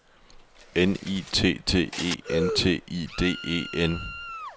N I T T E N T I D E N